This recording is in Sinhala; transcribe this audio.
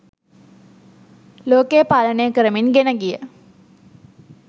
ලෝකය පාලනය කරමින් ගෙන ගිය